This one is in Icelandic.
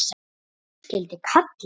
Ef hús skyldi kalla.